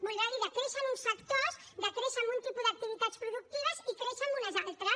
voldrà dir decréixer en uns sectors decréixer en un tipus d’activitats productives i créixer en unes altres